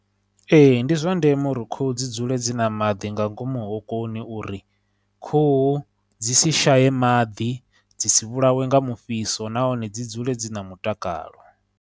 Ee, ndi zwa ndeme uri khuhu dzi dzule dzi na maḓi nga ngomu hokoni uri khuhu dzi si shaye maḓi, dzi si vhulawe nga mufhiso, nahone dzi dzule dzi na mutakalo.